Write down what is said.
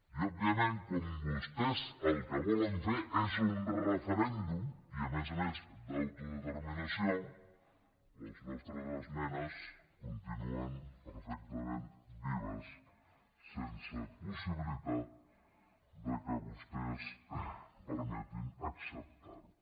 i òbviament com que vostès el que volen fer és un referèndum i a més a més d’autodeterminació les nostres esmenes continuen perfectament vives sense possibilitat que vostès permetin acceptarho